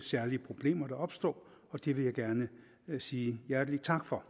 særlige problemer der opstod og det vil jeg gerne sige hjertelig tak for